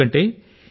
ఎందుకంటే